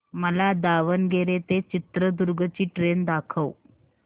मला दावणगेरे ते चित्रदुर्ग ची ट्रेन दाखव